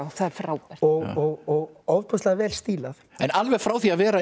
það er frábært og ofboðslega vel stílað en alveg frá því að vera